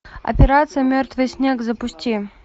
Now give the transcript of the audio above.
операция мертвый снег запусти